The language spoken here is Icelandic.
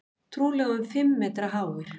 Trúlega um fimm metra háir.